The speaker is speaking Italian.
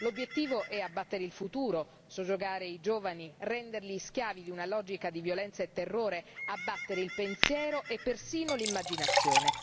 L'obiettivo è abbattere il futuro, soggiogare i giovani, renderli schiavi di una logica di violenza e terrore, abbattere il pensiero e persino l'immaginazione.